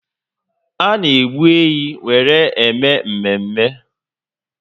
A na egbu ehi were eme mmemme